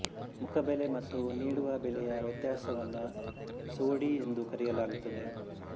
ಮುಖಬೆಲೆ ಮತ್ತು ನೀಡುವ ಬೆಲೆಯ ವ್ಯತ್ಯಾಸವನ್ನು ಸೋಡಿ ಎಂದು ಕರೆಯಲಾಗುತ್ತದೆ